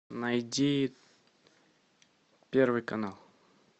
найди первый канал